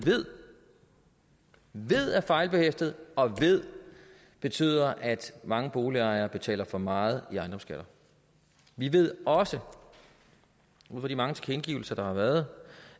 ved er fejlbehæftet og ved betyder at mange boligejere betaler for meget i ejendomsskat vi ved også ud fra de mange tilkendegivelser der har været